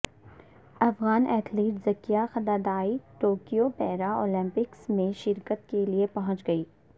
Afghan athlete Zakia Khudadadi Tokyo Para Olympics میں شرکت کے لیے پہنچ گئیں